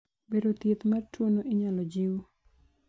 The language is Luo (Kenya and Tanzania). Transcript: bero, thieth mar tuono inyalo jiw